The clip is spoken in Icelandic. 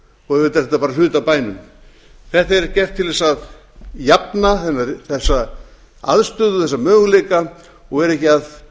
og auðvitað er þetta bara hluti af bænum þetta er gert til að jafna aðstöðu þessa möguleika og vera ekki að